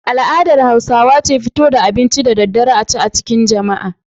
Al'adar Hausawa ce fito da abinci da daddare a ci a cikin jama'a.